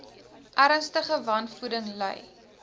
ernstige wanvoeding ly